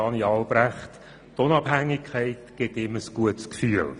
Die Unabhängigkeit gibt ihm anscheinend ein gutes Gefühl.